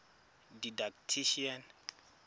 didactician